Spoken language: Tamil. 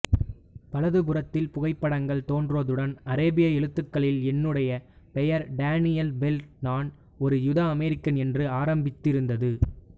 வலது புறத்தில் புகைப்படங்கள் தோன்றுவதுடன் அரேபிய எழுத்துக்களில் என்னுடைய பெயர் டேனியல் பெர்ல் நான் ஒரு யூதஅமெரிக்கன் என்று ஆரம்பித்திருந்தது